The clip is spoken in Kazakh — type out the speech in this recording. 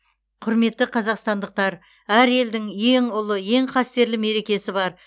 құрметті қазақстандықтар әр елдің ең ұлы ең қастерлі мерекесі бар